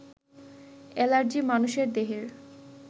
allergy মানুষের দেহের